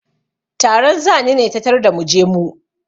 Taron zani ne ta tarda mu je mu.